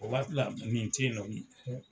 O waati la nɛni te yen nɔ